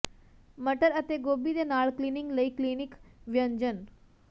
ਮਟਰ ਅਤੇ ਗੋਭੀ ਦੇ ਨਾਲ ਕਲੀਨਿੰਗ ਲਈ ਕਲੀਨਿਕ ਵਿਅੰਜਨ